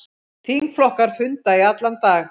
Þingflokkar funda í allan dag